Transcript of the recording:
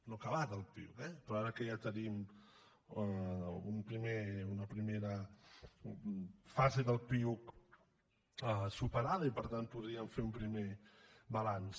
no ha acabat el piuc eh però ara que ja tenim una primera fase del piuc superada i per tant podríem fer un primer balanç